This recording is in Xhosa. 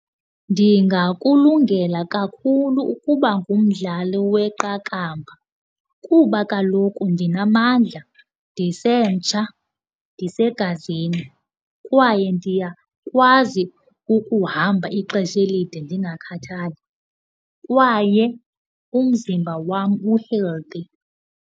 Ndingakulungela kakhulu ukuba ngumdlali weqakamba kuba kaloku ndinamandla, ndisemtsha, ndisegazini kwaye ndiyakwazi ukuhamba ixesha elide ndingakhathali. Kwaye umzimba wam u-healthy.